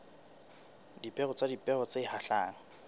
dipeo le dipeo tse hlahang